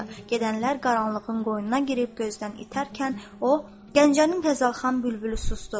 Gedənlər qaranlığın qoynuna girib gözdən itərkən, o Gəncənin Təzərxan bülbülü susdu.